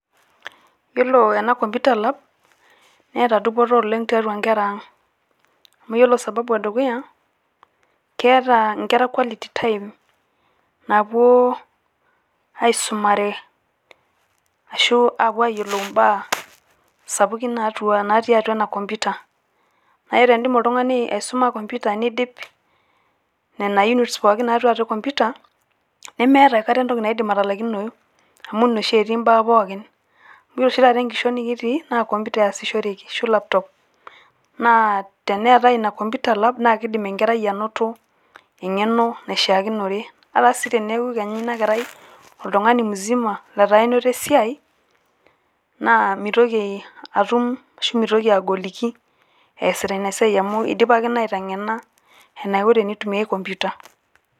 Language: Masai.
Yiolo ena computer lab neeta dupoto oleng tiatua nkera ang. Amu ore sababu e dukuya keeta nkera quality time naapuo aisumare ashu ayiolounye imbaa sapukin natii atua ena computer. Aa tenidim oltung`ani aisuma computer neidip nena units natii atua computer nemeeta aikata entoki naidim atalaikinoyu. Amu ine etii mbaa pookin, amu ore oshi taata enkishon nikitii naa computer easishoreki ashu laptop naa teneetai ina computer lab naa kidim enkerai anoto eng`eno naishiakinore. Ata sii teneaku kenya ina kerai oltung`ani musima letaa enoto esiai naa mitoki atum , ashu mitoki agoliki easita ina siai amu eidipaki aiteng`ena enaiko tenitumiai computer.